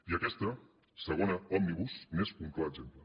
i aquesta segona òmnibus n’és un clar exemple